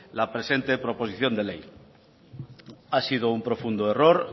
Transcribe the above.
la presente proposición de ley ha sido un profundo error